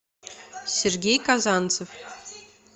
сергей казанцев